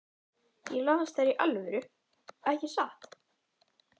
Ég las þær í alvöru, ekki satt?